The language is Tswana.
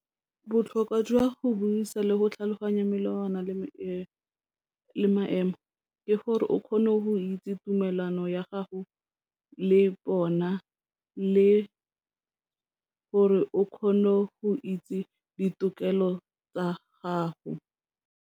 Botlhokwa jwa go buisa le go tlhaloganya melawana le maemo, ke gore o kgone go itse tumelano ya gago le bona le gore o kgone go itse ditokelo tsa gago.